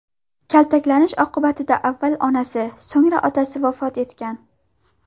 Kaltaklanish oqibatida avval onasi, so‘ngra otasi vafot etgan.